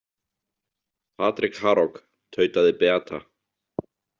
Patrik Harok, tautaði Beata.